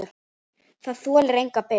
Það þolir enga bið!